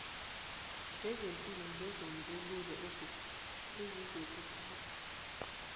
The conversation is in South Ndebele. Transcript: zezepilo ngesisombululo esizokuthathwa